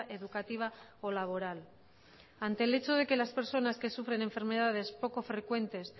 educativa o laboral ante el hecho de que las personas que sufren enfermedades poco frecuentes